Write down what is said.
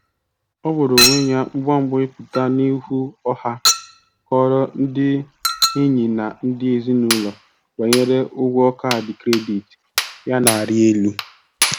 Ọ gbara onwe ya mgba mgba ịpụta n'ihu ọha kọọrọ ndị enyi na ndị ezinụlọ banyere ụgwọ kaadị kredit ya na-arị elu.